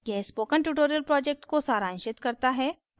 यह spoken tutorial project को सारांशित करता है